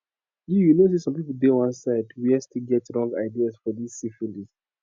you you know say some people dey one side where still get wrong ideas for this syphilis